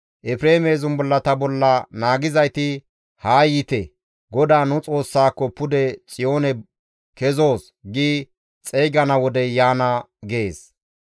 Efreeme zumbullata bolla naagizayti, ‹Haa yiite; GODAA nu Xoossaako pude Xiyoone ane kezoos› gi xeygana wodey yaana» gees.